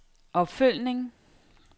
opfølgning